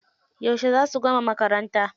Yauce za su gama makaranta?